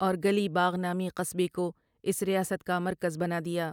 اور گلی باغ نامی قصبے کو اس ریاست کا مرکز بنا دیا۔